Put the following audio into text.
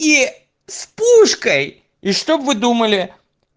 и с пушкой и что вы думали